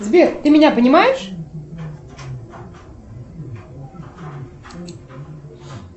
сбер ты меня понимаешь